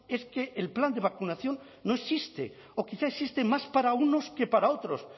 es que el plan de vacunación no existe o quizá existe más para unos que para otros